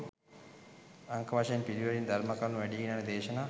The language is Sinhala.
අංක වශයෙන් පිළිවෙලින් ධර්ම කරුණු වැඞීගෙන යන දේශනා